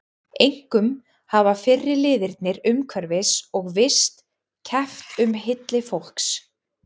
Einkum hafa fyrri liðirnir umhverfis- og vist- keppt um hylli fólks.